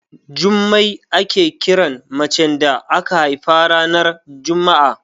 Jummai ake kira mace da aka haifa ranar juma'a.